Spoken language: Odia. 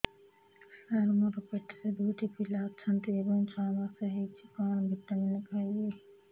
ସାର ମୋର ପେଟରେ ଦୁଇଟି ପିଲା ଅଛନ୍ତି ଏବେ ଛଅ ମାସ ହେଇଛି କଣ ଭିଟାମିନ ଖାଇବି